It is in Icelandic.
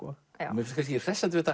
mér finnst kannski hressandi við